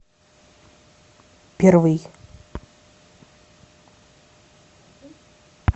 первый